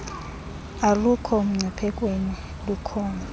alukho mgciphekweni lukhona